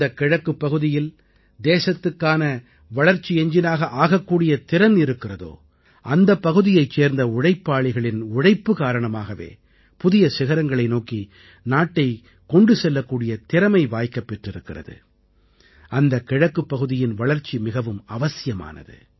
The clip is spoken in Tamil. எந்த கிழக்குப் பகுதியில் தேசத்துக்கான வளர்ச்சி எஞ்ஜினாக ஆகக்கூடிய திறன் இருக்கிறதோ அந்தப் பகுதியைச் சேர்ந்த உழைப்பாளிகளின் உழைப்பு காரணமாகவே புதிய சிகரங்களை நோக்கி நாட்டைக் கொண்டு செல்லக்கூடிய திறமை வாய்க்கப் பெற்றிருக்கிறது அந்த கிழக்குப் பகுதியின் வளர்ச்சி மிகவும் அவசியமானது